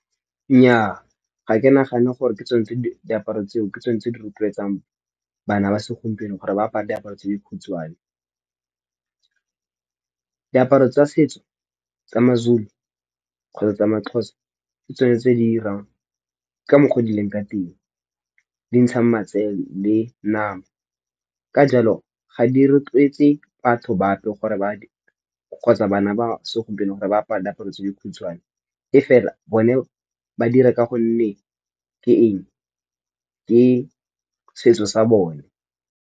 Nnyaa ga ke nagane gore ke tsone tse diaparo tseo ke tsone tse di rotloetsang bana ba segompieno gore ba apara diaparo tse dikhutshwane, diaparo tsa setso tsa maZulu kgotsa tsa maXhosa ke tsone tse di irang ka mokgwa o di leng ka teng, di ntshang matsele le nama ka jalo ga di rotlwetse batho ba bape gore ba kgotsa bana ba segompieno gore ba apara diaparo tse dikhutshwane, e fela bone ba dire ka gonne ke eng ke setso sa bone.